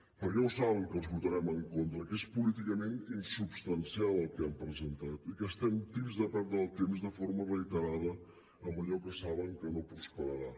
perquè ja ho saben que els hi votarem en contra que és políticament insubstancial el que han presentat i que estem tips de perdre el temps de forma reiterada amb allò que saben que no prosperarà